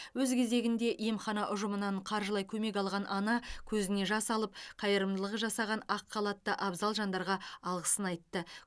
өз кезегінде емхана ұжымынан қаржылай көмек алған ана көзіне жас алып қайырымдылық жасаған ақ халатты абзал жандарға алғысын айтты